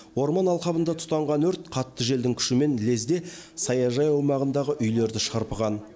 орман алқабында тұтанған өрт қатты желдің күшімен лезде саяжай аумағындағы үйлерді шарпыған